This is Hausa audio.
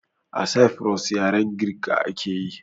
A saifuros yaren girka akeyi